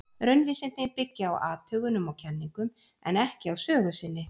Raunvísindin byggja á athugunum og kenningum, en ekki á sögu sinni.